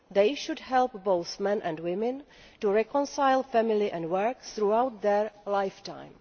They should help both men and women to reconcile family and work throughout their lifetime.